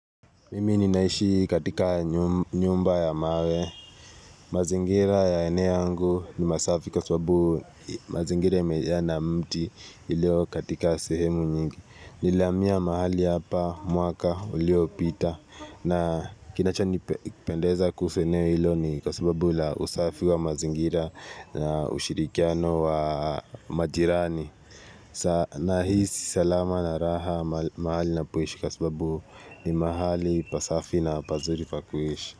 Mimi ninaishi katika nyumba ya mawe, mazingira ya eneo angu ni masafi kwa sababu mazingira ya mejaa na mti ilio katika sehemu nyingi, nilamia mahali hapa mwaka ulio pita na kinachani pendeza kuseneo ilo ni kwa sababu la usafi wa mazingira na ushirikiano wa majirani. Na hisi salama na raha mahali na poishi kasababu ni mahali pasafi na pazuri pa kuishi.